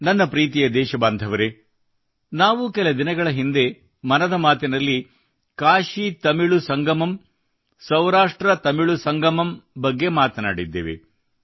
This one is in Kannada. ನನ್ನ ಪ್ರೀತಿಯ ದೇಶಬಾಂಧವರೆ ನಾವು ಕೆಲ ದಿನಗಳ ಹಿಂದೆ ಮನದ ಮಾತಿನಲ್ಲಿ ಕಾಶಿತಮಿಳು ಸಂಗಮಂ ಸೌರಾಷ್ಟ್ರತಮಿಳು ಸಂಗಮಂ ಬಗ್ಗೆ ಮಾತನಾಡಿದ್ದೇವೆ